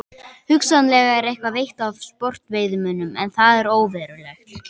Hugsanlega er eitthvað veitt af sportveiðimönnum en það er óverulegt.